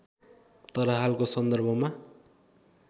तर हालको सन्दर्भमा